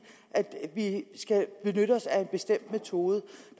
at vi skal benytte os af en bestemt metode